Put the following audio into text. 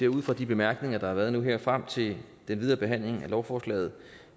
ud fra de bemærkninger der har været nu her ser jeg frem til den videre behandling af lovforslaget